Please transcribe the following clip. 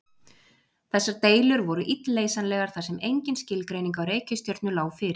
Þessar deilur voru illleysanlegar þar sem engin skilgreining á reikistjörnu lá fyrir.